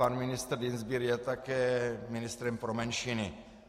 Pan ministr Dienstbier je také ministrem pro menšiny.